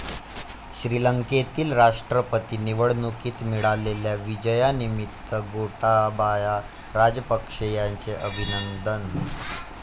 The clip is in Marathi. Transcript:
श्रीलंकेतील राष्ट्रपती निवडणुकीत मिळालेल्या विजयानिमित्त गोटाबाया राजपक्षे यांचे अभिनंदन.